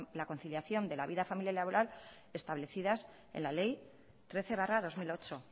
la conciliación de la vida familiar y laboral establecidas en la ley trece barra dos mil ocho